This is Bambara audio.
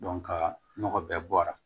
ka nɔgɔ bɛɛ bɔra